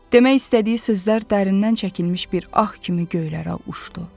Demək istədiyi sözlər dərindən çəkilmiş bir ah kimi göylərə uçdu.